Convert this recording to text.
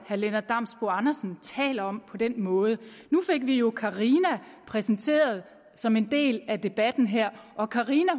herre lennart damsbo andersen taler om på den måde nu fik vi jo carina præsenteret som en del af debatten her og carina